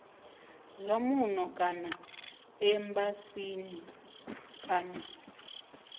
zwa muno kana embasini kana